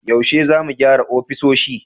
Yaushe za mu gyara ofisoshi?